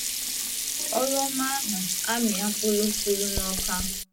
Ọrụ ọma ahụ amịa mkpụrụ pụrụ n'Awka